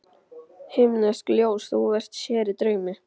Himneskt ljós þú sér í draumi.